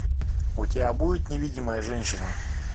у тебя будет невидимая женщина